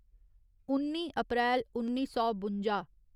उन्नी अप्रैल उन्नी सौ बुंजा